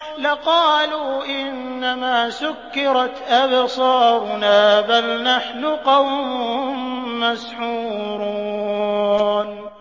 لَقَالُوا إِنَّمَا سُكِّرَتْ أَبْصَارُنَا بَلْ نَحْنُ قَوْمٌ مَّسْحُورُونَ